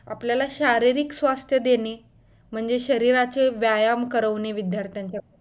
आपल्याला शारीरिक स्वास्थ्य देणे म्हणजे शरीराचा व्यायाम करवणे विद्दार्थ्यंच्या कडून